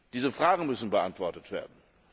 Diese Fragen müssen beantwortet werden.